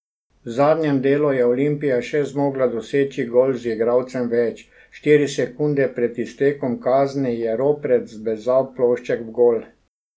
V zadnjem delu je Olimpija še zmogla doseči gol z igralcem več, štiri sekunde pred iztekom kazni je Ropret zbezal plošček v gol.